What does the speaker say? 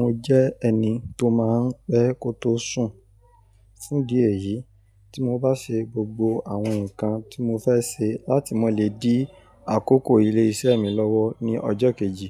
Mo jẹ́ ẹni tó máa n pẹ́ kó tó sùn, fún dí eyì tí mo bá ṣe gbogbo àwọn nǹkan tí mo fẹ́ se láti mọ lè dí àkókò ilé isẹ́ mi lọ́wọ́ ní ọjọ́ kejì,